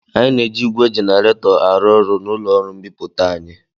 Anyị na-eji ígwè jenaretọ arụ ọrụ n'ụlọ ọrụ mbipụta anyị.